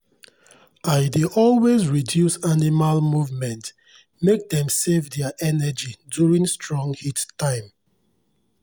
i dey always reduce animal movement make dem save their energy during strong heat time.